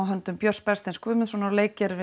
höndum Björn Bergsteins Guðmundssonar og